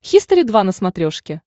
хистори два на смотрешке